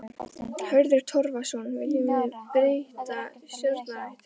Hörður Torfason: Viljum við breytta stjórnarhætti?